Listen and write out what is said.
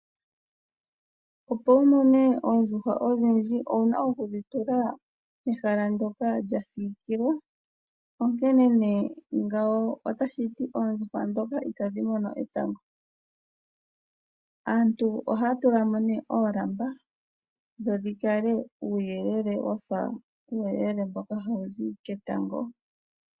Opo wumone oondjuhwa odhindji, owuna okudhi tula pehala ndyoka lya siikilwa onkene nee ngawo otashiti oondjuhwa ndhoka itadhi mono etango . Aantu ohaya tula mo nee oolamba dho dhikale uuyelele wafa mboka hawuzi ketango.